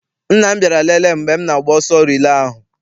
Nna m bịara lele m mgbe m na-agba ọsọ rilee ahụ.